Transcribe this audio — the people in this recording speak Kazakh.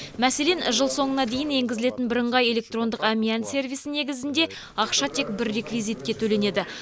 мәселен жыл соңына дейін енгізілетін бірыңғай электрондық әмиян сервисі негізінде ақша тек бір реквизитке төленеді